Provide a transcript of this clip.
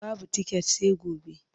Babu tiket sai gobe.